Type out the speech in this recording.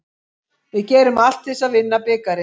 Við gerum allt til þess að vinna bikarinn.